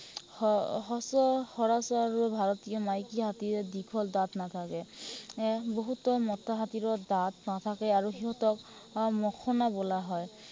আহ সচ সৰাচৰ ভাৰতীয় মাইকী হাতীৰ দীঘল দাঁত নাথাকে। এৰ বহুতো মতা হাতীৰো দাঁত নাথাকে, আৰু সিহঁতক আহ মখনা বোলা হয়।